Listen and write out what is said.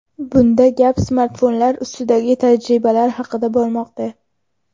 Bunda gap smartfonlar ustidagi tajribalar haqida bormoqda.